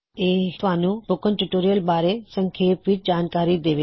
ਇਹ ਤੁਹਾਨੂੰ spoken tutorial ਬਾਰੇ ਸੰਖੇਪ ਵਿੱਚ ਜਾਣਕਾਰੀ ਦੇਵੇਗਾ